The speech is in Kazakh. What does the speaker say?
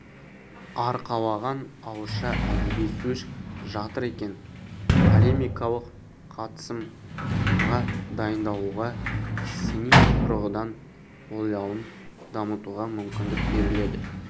арқалаған ауызша әдеби сөз жатыр екен полемикалық қатысымға дайындалуға сыни тұрғыдан ойлауын дамытуға мүмкіндік беріледі